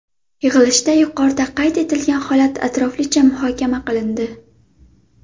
Yig‘ilishda yuqorida qayd etilgan holat atroflicha muhokama qilindi.